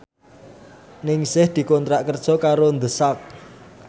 Ningsih dikontrak kerja karo The Sak